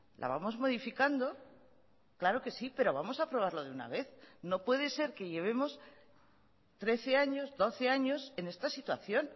la vamos modificando claro que sí pero vamos a aprobarlo de una vez no puede ser que llevemos trece años doce años en esta situación